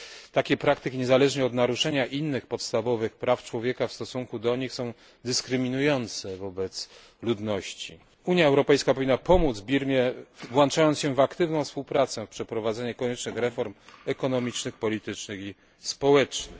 Takie praktyki, niezależnie od naruszenia innych podstawowych praw człowieka w stosunku do nich, są dyskryminujące wobec tej ludności. Unia Europejska powinna pomóc Birmie, włączając się w aktywną współpracę w przeprowadzeniu koniecznych reform ekonomicznych, politycznych i społecznych.